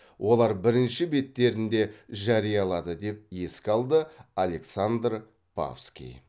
олар бірінші беттерінде жариялады деп еске алды александр павский